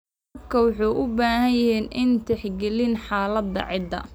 Waraabka wuxuu u baahan yahay inuu tixgeliyo xaaladda ciidda.